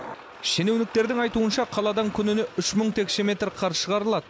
шенеуніктердің айтуынша қаладан күніне үш мың текше метр қар шығарылады